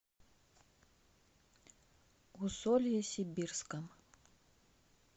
усолье сибирском